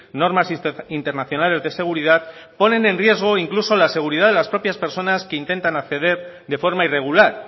normas internacionales de seguridad ponen en riesgo incluso la seguridad de las propias personas que intentan acceder de forma irregular